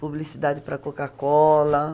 Publicidade para a Coca-Cola.